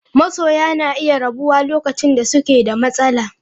Masoya na iya rabuwa lokacin da suke da matsala.